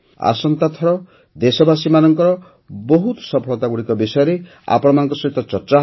ଆସନ୍ତାଥର ଦେଶବାସୀମାନଙ୍କର ବହୁତ ସଫଳତାଗୁଡ଼ିକ ବିଷୟରେ ଆପଣମାନଙ୍କ ସହିତ ଚର୍ଚ୍ଚା ହେବ